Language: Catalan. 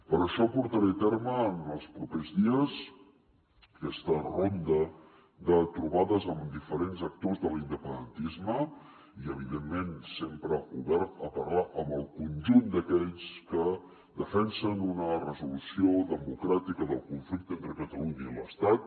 per això portaré a terme en els propers dies aquesta ronda de trobades amb diferents actors de l’independentisme i evidentment sempre obert a parlar amb el conjunt d’aquells que defensen una resolució democràtica del conflicte entre catalunya i l’estat